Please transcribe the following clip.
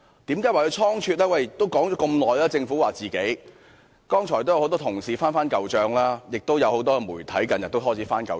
政府表示自己已就這事宜說了很久，剛才很多同事已"翻舊帳"，亦有很多媒體近日也開始"翻舊帳"。